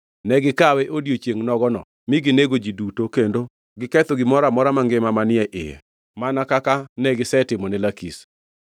Ne gikawe odiechiengʼ nogono mi ginego ji duto kendo giketho gimoro amora mangima manie iye, mana kaka negisetimone Lakish.